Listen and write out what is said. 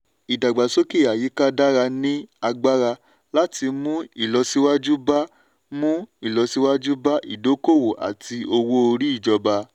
ìdàgbàsókè àyíká dára ní agbára láti mú ìlọsíwájú bá mú ìlọsíwájú bá ìdókòwò àti owó-orí ìjọba.